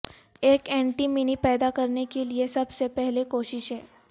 ایک اینٹی منی پیدا کرنے کے لئے سب سے پہلے کوششیں